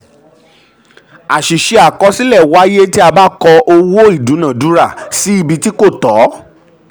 um àṣìṣe àkọsílẹ um wáyé tí a ba kọ owó/ìdúnáádúrà sí ibi tí sí ibi tí kò tó.